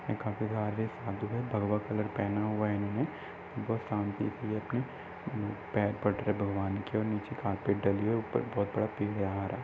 काफी सारे साधु हैं भगवा कलर पहना हुआ है इन्होंने बोहोत शांति से ये अपने पैर पड़ रहे भगवान के और नीचे कार्पेट डली हुई है ऊपर बहुत बड़ा पेड़ यहाँ आ रहा है।